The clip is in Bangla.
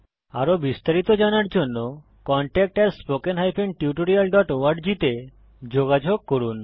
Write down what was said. আরো বিস্তারিত জানার জন্য contactspoken tutorialorg তে যোগযোগ করুন